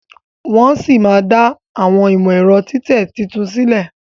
Wón sí má dá Àwọn imọ-ẹrọ titẹ títún sílè.